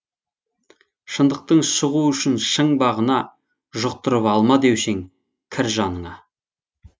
шындықтың шығу үшін шың бағына жұқтырып алма деуші ең кір жаныңа